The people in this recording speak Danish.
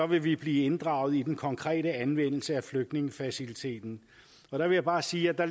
vil vi blive inddraget i den konkrete anvendelse af flygtningefaciliteten der vil jeg bare sige at